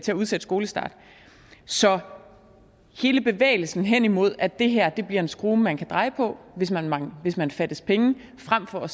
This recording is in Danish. udsætte skolestarten så hele bevægelsen hen imod at det her bliver en skrue man kan dreje på hvis man hvis man fattes penge frem for at